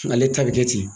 Ale ta bɛ kɛ ten